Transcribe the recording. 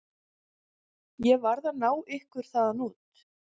Ég varð að ná ykkur þaðan út.